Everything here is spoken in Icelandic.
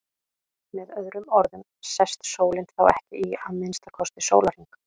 Með öðrum orðum sest sólin þá ekki í að minnsta kosti sólarhring.